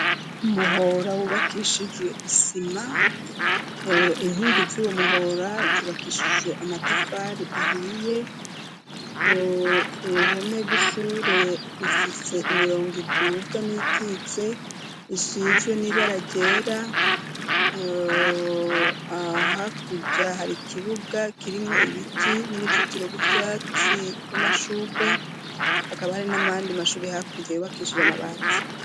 Umuhora wubakishijwe isima, inkingi z'uwo muhora zubakishijwe amatafari ahiye. Uruhome rw'ishure rufise imirongo iduga n'iyikitse isizwe n'ibara ryera, hakurya hari ikibuga kirimwo ibiti n'uruzitiro rw'uvyatsi rw'amashurwe akaba hari n'ayandi mashuri hakurya yubakishije amabati.